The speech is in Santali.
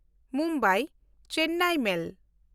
ᱢᱩᱢᱵᱟᱭ–ᱪᱮᱱᱱᱟᱭ ᱢᱮᱞ